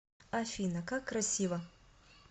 афина как красиво